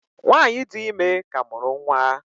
Nwanyị dị ime ka mụrụ nwa.